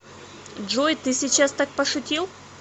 джой ты сейчас так пошутил